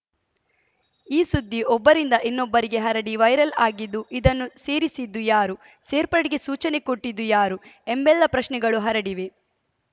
ಈ ಸುದ್ದಿ ಒಬ್ಬರಿಂದ ಇನ್ನೊಬ್ಬರಿಗೆ ಹರಡಿ ವೈರಲ್‌ ಆಗಿದ್ದು ಇದನ್ನು ಸೇರಿಸಿದ್ದು ಯಾರು ಸೇರ್ಪಡೆಗೆ ಸೂಚನೆ ಕೊಟ್ಟಿದ್ದು ಯಾರು ಎಂಬೆಲ್ಲಾ ಪ್ರಶ್ನೆಗಳು ಹರಿಡಿವೆ